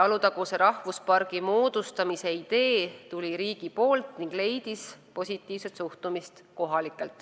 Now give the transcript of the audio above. Alutaguse rahvuspargi moodustamise idee tuli riigilt ning leidis kohalikelt positiivset suhtumist.